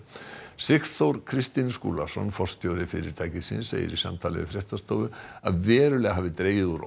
Sigþór Kristinn Skúlason forstjóri fyrirtækisins segir í samtali við fréttastofu að verulega hafi dregið úr